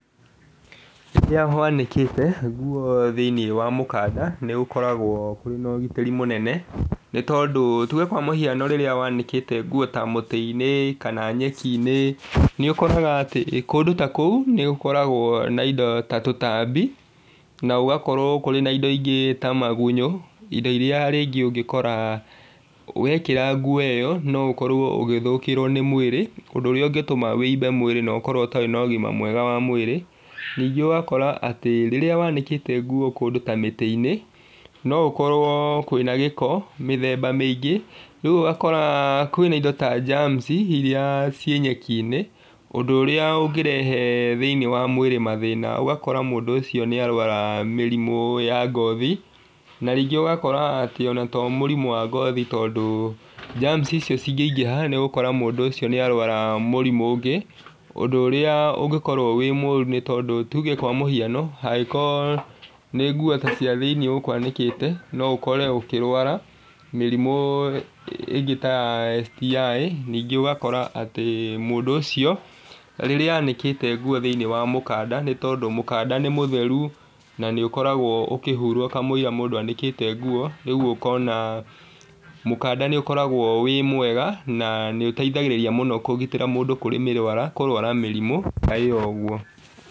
Rĩrĩa wanĩkite nguo thĩiniĩ wa mũkanda nĩgũkoragwo kũrĩ na ũgitĩri mũnene ni tondũ tuge kwa mũhiano rĩrĩa wanĩte nguo ta mũtĩ-inĩ kana nyeki-inĩ nĩ ũkoraga atĩ kũndũ ta kũu nĩgũkoragwo na indo ta tũtambi na gũgakorwo kũrĩ na indo ingĩ ta magunyũ indo iria rĩngĩ ũngĩkora wekĩra nguo ĩyo noũkorwo ũgĩthũkĩrwo nĩ mwĩrĩ ũndũ ũrĩa ũngĩtũma ũimbe mwĩrĩ na ũkorwo ũtarĩ na ũgima mwega wa mwĩrĩ , ningĩ ũgakora atĩ rĩrĩa wanĩkĩte nguo kũndũ ta mĩtĩ-inĩ no gũkorwo kwĩna gĩko mĩthemba mĩingĩ rĩu ũgakora kwĩna indo ta germs iria cirĩ nyeki-inĩ ũndũ ũrĩa ũngĩrehe thĩ-inĩ wa mwĩrĩ mathĩna ũgakora mũndũ ũcio nĩ arwara mĩrĩmũ ya ngothi na rĩngĩ ũgakoraga to mĩrĩmũ ya ngothi tondũ germs icio cingĩingĩra nĩũgũkora mũndũ ũcio nĩ arwara mũrimũ ũngĩ ũndũ ũrĩa ũngĩkorwo wĩ mũru nĩ tondũ tuge kwa mũhiano hangĩkorwo nĩ nguo ta cia thĩ-inĩ ũkwanĩkĩte no ũkore ũkĩrwara mĩrĩmũ ĩngĩ ta ya STI nĩngĩ ũgakora atĩ mũndũ ũcio rĩrĩa anĩkĩte nguo thĩ-iniĩ wa mũkanda nĩ tondũ mũkanda nĩ mũtheru na niũkoragwo ũkĩihurwo kamũiria mũndũ anĩkĩte nguo rĩu ũkona mũkanda nĩ ũkoragwo wĩ mwega na nĩ ũteithagĩrĩria mũno kũgĩtĩra mũndũ kũrĩ kũrwara mĩrimũ ta ĩyo ũguo